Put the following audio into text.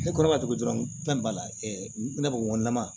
Ne kɔrɔba tobi dɔrɔn n ko fɛn b'a la ne ko ŋo nama